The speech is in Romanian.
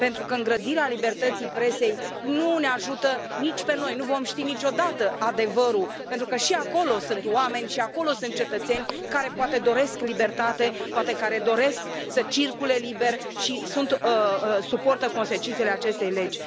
Îngrădirea libertății presei nu ne ajută nici pe noi, nu vom ști niciodată adevărul pentru că și acolo sunt oameni, și acolo sunt cetățeni care poate doresc libertate, poate care doresc să circule liber și suportă consecințele acestei legi.